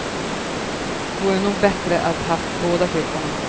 Vore nog bättre att ha haft båda kryckorna.